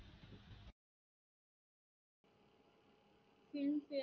Filmfare